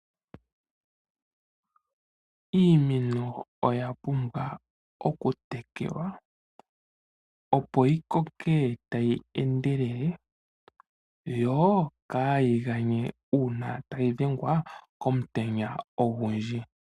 Iimeno oya pumbwa oku tekelwa opo yikoke tayi endelele yoo kaayi ganye uuna tayidhengwa komutenya ogundji.